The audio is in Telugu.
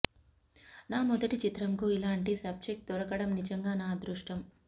నా మొదటి చిత్రంకు ఇలాంటి సబ్జెక్ట్ దొరకడం నిజంగా నా అదృష్టం